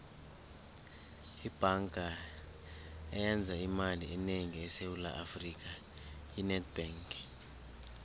ibhanga eyenza imali enengi esewula afrika yi nedbank